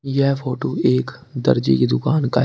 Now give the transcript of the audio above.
यह फोटो एक दर्जी के दुकान का है।